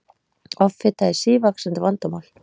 Offita er sívaxandi vandamál.